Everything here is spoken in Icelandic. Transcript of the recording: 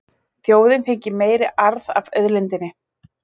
Þjóðin fengi meiri arð af auðlindinni